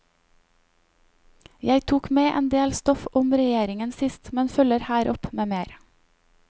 Jeg tok med en del stoff om regjeringen sist, men følger her opp med mer.